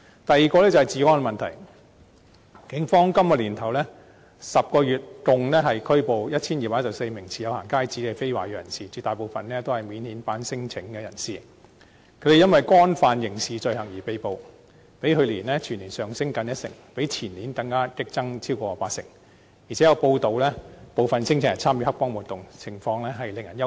第二個是治安問題，警方今年首10個月共拘捕 1,214 名持有"行街紙"的非華裔人士，絕大部分是免遣返聲請人士，他們因為干犯刑事罪行而被捕，較去年全年上升近一成，相比於前年更激增超過八成，而且有報道指部分聲請人參與黑幫活動，情況實在令人憂慮。